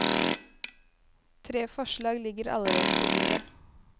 Tre forslag ligger allerede på bordet.